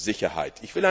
Sicherheit.